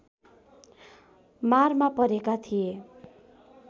मारमा परेका थिए